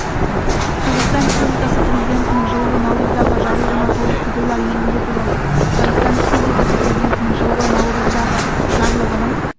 қазақстан республикасы президентінің жылғы наурыздағы жарлығына толықтырулар енгізу туралы қазақстан республикасы президентінің жылғы наурыздағы жарлығының